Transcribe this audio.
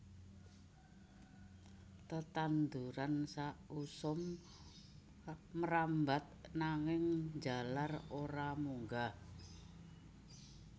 Tetanduran sausum mrambat nanging njalar ora munggah